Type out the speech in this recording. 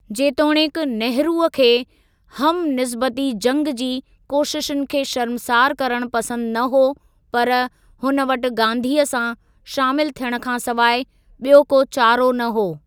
जेतोणीकि नेहरूअ खे हम निस्बती जंग जी कोशिशुनि खे शर्मसार करण पसंद न हो, पर हुन वटि गांधीअ सां शामिल थियण खां सिवाइ ॿियो को चारो न हो।